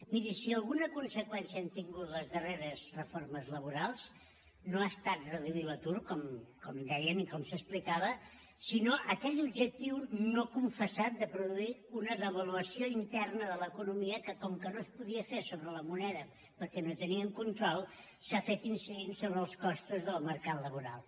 miri si alguna conseqüència han tingut les darreres reformes laborals no ha estat reduir l’atur com deien i com s’explicava sinó aquell objectiu no confessat de produir una devaluació interna de l’economia que com que no es podia fer sobre la moneda perquè no teníem control s’ha fet incidint sobre els costos del mercat laboral